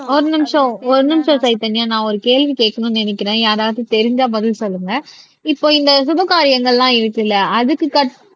ஒரு நிமிஷம் ஒரு நிமிஷம் சைதன்யா நான் ஒரு கேள்வி கேட்கணும்ன்னு நினைக்கிறேன் யாராவது தெரிஞ்சா பதில் சொல்லுங்க இப்போ இந்த சுபகாரியங்கள்லாம் இருக்குல்ல அதுக்கு கட்